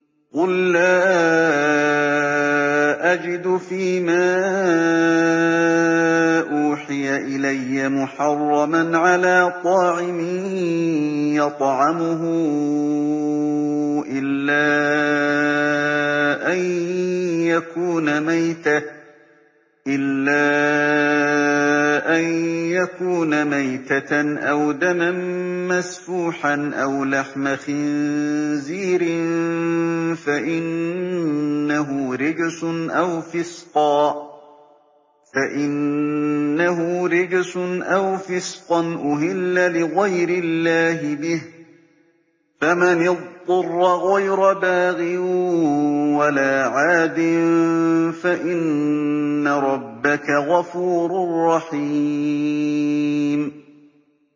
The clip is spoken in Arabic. قُل لَّا أَجِدُ فِي مَا أُوحِيَ إِلَيَّ مُحَرَّمًا عَلَىٰ طَاعِمٍ يَطْعَمُهُ إِلَّا أَن يَكُونَ مَيْتَةً أَوْ دَمًا مَّسْفُوحًا أَوْ لَحْمَ خِنزِيرٍ فَإِنَّهُ رِجْسٌ أَوْ فِسْقًا أُهِلَّ لِغَيْرِ اللَّهِ بِهِ ۚ فَمَنِ اضْطُرَّ غَيْرَ بَاغٍ وَلَا عَادٍ فَإِنَّ رَبَّكَ غَفُورٌ رَّحِيمٌ